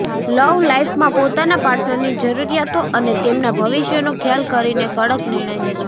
લવ લાઈફમાં પોતાના પાર્ટનરની જરૂરિયાતો અને તેમના ભવિષ્યનો ખ્યાલ કરીને કડક નિર્ણય લેશો